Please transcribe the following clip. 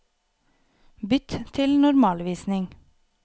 Bytt til normalvisning